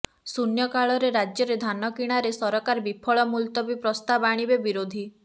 ଶୂନ୍ୟକାଳରେ ରାଜ୍ୟରେ ଧାନ କିଣାରେ ସରକାର ବିଫଳ ମୁଲତବୀ ପ୍ରସ୍ତାବ ଆଣିବେ ବିରୋଧୀ